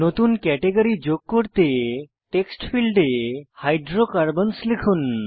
নতুন ক্যাটেগরি যোগ করতে টেক্সট ফীল্ডে হাইড্রোকার্বনসহ লিখুন